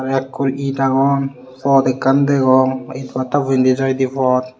ekur et agon pot ekkan degong et batta bo indi jaide pot.